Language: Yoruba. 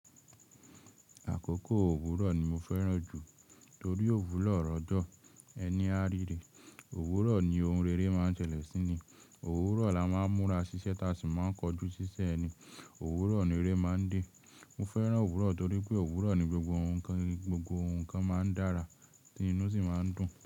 Àkókò òwúrọ̀ ni mo fẹ́ràn jù torí òwúrọ̀ lọ̀jọ́ ẹni a ríre. Òwúrọ̀ ni ohun rere máa ń ṣẹlẹ̀ síni, òwúrọ̀ la máa ń múra ṣiṣẹ́ tá ṣì máa ń kojú ṣiṣẹ́ ni, òwúrọ̀ ni eré máa ń dé. Mo fẹ́ràn òwúrọ̀ torí pé òwúrọ̀ ni gbogbo ohun kan, gbogbo ohun kan máa ń dára tinú sì máa ń dùn.